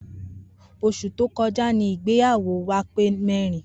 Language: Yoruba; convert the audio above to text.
Os̩ù tí ó ko̩já ni ìgbéyàwó wa pé o̩dún mé̩rin